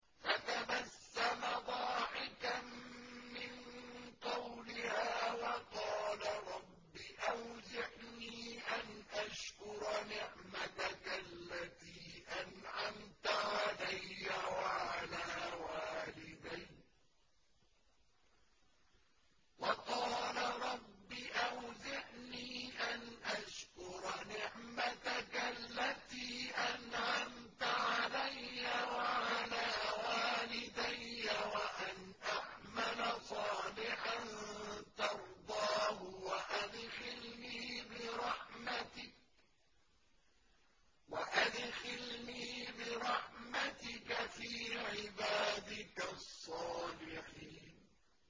فَتَبَسَّمَ ضَاحِكًا مِّن قَوْلِهَا وَقَالَ رَبِّ أَوْزِعْنِي أَنْ أَشْكُرَ نِعْمَتَكَ الَّتِي أَنْعَمْتَ عَلَيَّ وَعَلَىٰ وَالِدَيَّ وَأَنْ أَعْمَلَ صَالِحًا تَرْضَاهُ وَأَدْخِلْنِي بِرَحْمَتِكَ فِي عِبَادِكَ الصَّالِحِينَ